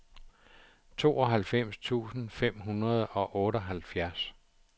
tooghalvfems tusind fem hundrede og otteoghalvfjerds